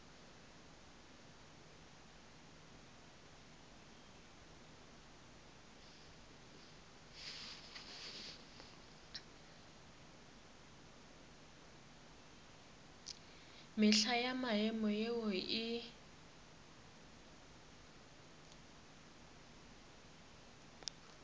mehla ya maemo yeo e